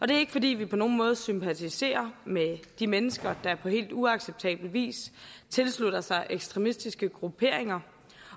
det er ikke fordi vi på nogen måde sympatiserer med de mennesker der på helt uacceptabel vis tilslutter sig ekstremistiske grupperinger